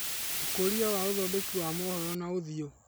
ũkũria wa ũthondeki wa mohoro na ũthiũ.